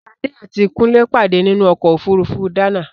Ṣadé àti Kúnlé pàdé nínú ọ̀kọ̀ ofúrufú Dana